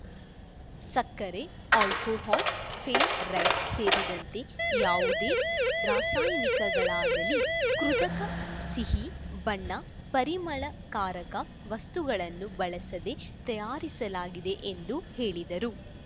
ಸಕ್ಕರೆ ಆಲ್ಕೋಹಾಲ್‌ ಫೇಲ್ ರೈಟ್ ಸೇರಿದಂತೆ ಯಾವುದೇ ರಾಸಾಯನಿಕಗಳಾಗಲೀ ಕೃತಕ ಸಿಹಿ ಬಣ್ಣ ಪರಿಮಳಕಾರಕ ವಸ್ತುಗಳನ್ನು ಬಳಸದೇ ತಯಾರಿಸಲಾಗಿದೆ ಎಂದು ಹೇಳಿದರು